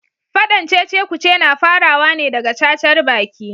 Fadan cecekuce na farawa ne daga cacarbaki.